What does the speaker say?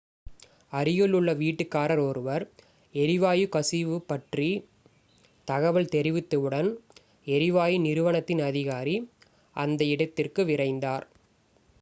அருகில் உள்ள வீட்டுக்காரர் ஒருவர் எரிவாயு கசிவு பற்றி தகவல் தெரிவித்தவுடன் எரிவாயு நிறுவனத்தின் அதிகாரி அந்த இடத்திற்கு விரைந்தார்